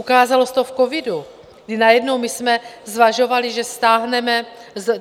Ukázalo se to v covidu, kdy najednou my jsme zvažovali, že stáhneme...